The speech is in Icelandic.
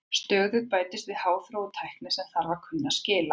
Stöðugt bætist við háþróuð tækni sem þarf að kunna skil á.